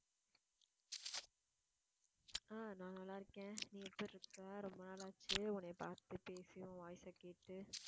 ஆஹ் நான் நல்லா இருக்கேன் நீ எப்படி இருக்க ரொம்ப நாளாச்சு உன்னைய பார்த்து பேசி உன் voice அ கேட்டு